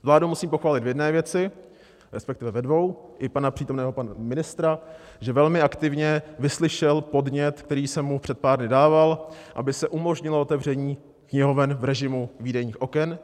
Vládu musím pochválit v jedné věci, respektive ve dvou, i pana přítomného pana ministra, že velmi aktivně vyslyšel podnět, který jsem mu před pár dny dával, aby se umožnilo otevření knihoven v režimu výdejních oken.